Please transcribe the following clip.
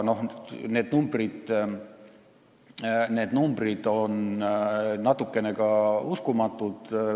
Need numbrid on natukene uskumatud.